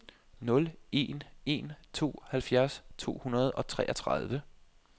nul en en to halvfjerds to hundrede og treogtredive